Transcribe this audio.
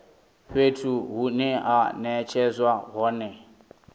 fhethu hune ha netshedzwa hone